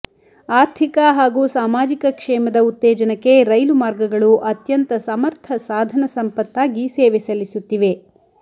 ಆರ್ಥಿಕ ಹಾಗೂ ಸಾಮಾಜಿಕ ಕ್ಷೇಮದ ಉತ್ತೇಜನಕ್ಕೆ ರೈಲು ಮಾರ್ಗಗಳು ಅತ್ಯಂತ ಸಮರ್ಥ ಸಾಧನ ಸಂಪತ್ತಾಗಿ ಸೇವೆ ಸಲ್ಲಿಸುತ್ತಿವೆ